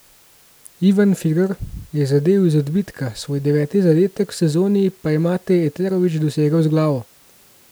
Ivan Firer je zadel iz odbitka, svoj deveti zadetek v sezoni pa je Mate Eterović dosegel z glavo.